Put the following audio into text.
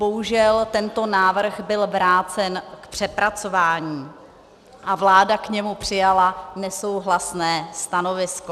Bohužel tento návrh byl vrácen k přepracování a vláda k němu přijala nesouhlasné stanovisko.